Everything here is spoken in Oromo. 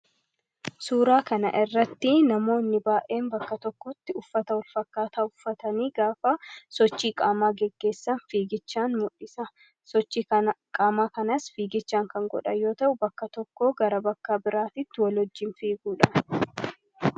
suuraa kana irratti namoonni baa'een bakka tokkotti uffata'uul fakkaataa uffatanii gaafaa sochii qaamaa geggeessan fiigichaan mudhisa sochii qaamaa kanaas fiigichaan kan godha yoo ta'uu bakka tokkoo gara bakkaa biraatitti wolojjiin fiiguudha